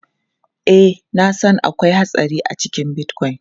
Ee, na san akwai hatsari a cikin Bitcoin.